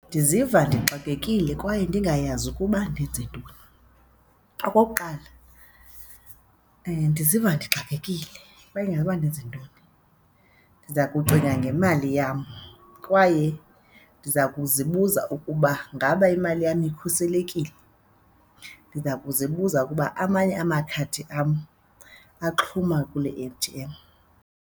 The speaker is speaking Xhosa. Ndiziva ndixakekile kwaye ndingayazi ukuba ndenze ntoni. Okokuqala ndiziva ndixakekile kwaye noba ndenze ntoni ndiza kucinga ngemali yam kwaye ndiza kuzibuza ukuba ngaba imali yam ikhuselekile? Ndiza kuzibuza ukuba amanye amakhadi am axhuma kule A_T_M.